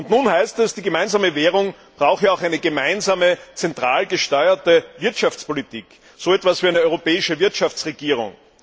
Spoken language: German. Und nun heißt es, die gemeinsame Währung brauche auch eine gemeinsame, zentral gesteuerte Wirtschaftspolitik, so etwas wie eine europäische Wirtschaftsregierung.